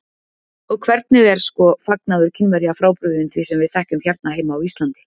Og hvernig er, sko, fagnaður Kínverja frábrugðinn því sem við þekkjum hérna heima á Íslandi?